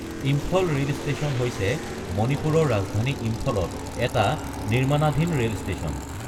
Imphal rail station হৈছে মণিপুৰৰ ৰাজধানী ইম্ফলত এটা নিৰ্মাণাধীন ৰেল ষ্টেচন।